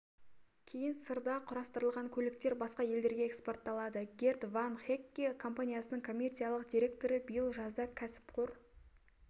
кейін сырда құрастырылған көліктер басқа елдерге экспортталады герт ван хэкке компаниясының коммерциялық директоры биыл жазда кәсіпқор